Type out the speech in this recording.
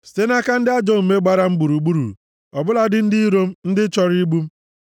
site nʼaka ndị ajọ omume gbara m gburugburu, ọ bụladị ndị iro m, ndị chọrọ igbu m.